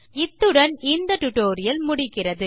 இத்துடன் இந்த டியூட்டோரியல் முடிகிறது